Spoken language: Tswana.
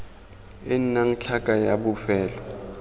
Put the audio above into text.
e nnang tlhaka ya bofelo